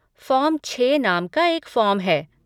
Form 6 नाम का एक फॉर्म है।